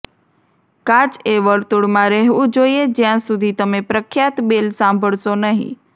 કાચ એ વર્તુળમાં રહેવું જોઈએ જ્યાં સુધી તમે પ્રખ્યાત બેલ સાંભળશો નહીં